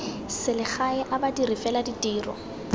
selegae a badiri fela ditiro